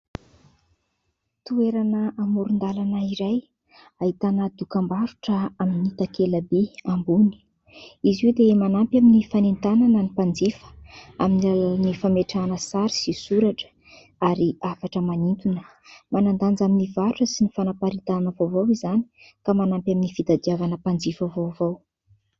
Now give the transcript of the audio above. Toerana amoron-dalana iray ahitana dokam-barotra amin' ny takela-by ambony. Izy io dia manampy amin' ny fanentanana ny mpanjifa amin' ny alalan' ny fametrahana sary sy soratra ary hafatra manintona. Manandanja amin' ny varotra sy ny fanaparitahana vaovao izany ka manampy amin' ny fitadiavana mpanjifa vaovao.